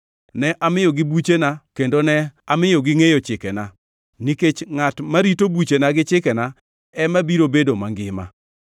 Ne amiyogi buchena kendo ne amiyo gingʼeyo chikena, nikech ngʼat marito buchena gi chikena ema biro bedo mangima.